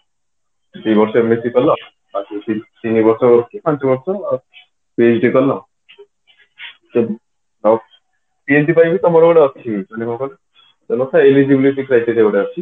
ଦି ବର୍ଷ MSC କଲ ତାପରେ ତିନିବର୍ଷ କି ପାଞ୍ଚବର୍ଷ PhD କଲ PhD ପାଇଁ ବି ତମର ଗୋଟେ ଅଛି ମାନେ କଣ କହିଲ ଗୋଟେ eligibility criteria ଗୋଟେ ଅଛି